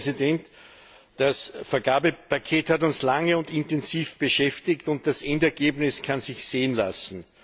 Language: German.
Frau Präsidentin! Das Vergabepaket hat uns lange und intensiv beschäftigt, und das Endergebnis kann sich sehen lassen.